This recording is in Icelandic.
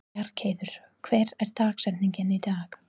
Bjargheiður, hver er dagsetningin í dag?